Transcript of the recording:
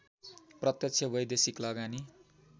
प्रत्यक्ष वैदेशिक लगानी